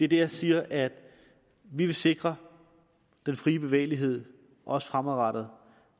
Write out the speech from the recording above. det jeg siger er at vi vil sikre den frie bevægelighed også fremadrettet